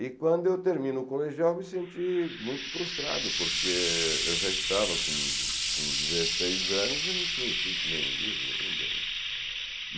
E quando eu termino o colegial, me senti muito frustrado, porque eu já estava com com dezesseis anos e não tinha escrito nenhum livro ainda, né.